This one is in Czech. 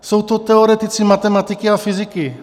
Jsou to teoretici matematiky a fyziky.